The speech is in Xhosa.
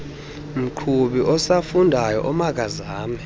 mqhubi osafundayo omakazame